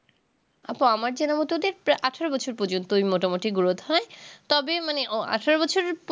আপু আমার জানা মতো দেখতে আঠারো বছর পর্যন্ত ওই মোটামুটি growth হয় তবে মানে অ আঠেরো বছরের